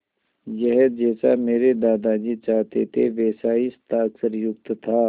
यह जैसा मेरे दादाजी चाहते थे वैसा ही हस्ताक्षरयुक्त था